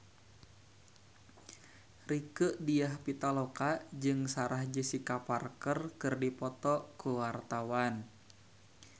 Rieke Diah Pitaloka jeung Sarah Jessica Parker keur dipoto ku wartawan